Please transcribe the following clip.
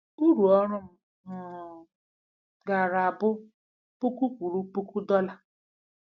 Urụ oru m um gaara abụ puku kwuru puku dollar.